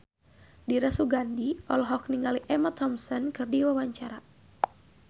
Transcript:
Dira Sugandi olohok ningali Emma Thompson keur diwawancara